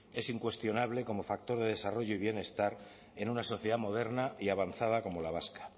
es incuestionable como factor de desarrollo y bienestar en una sociedad moderna y avanzada como la vasca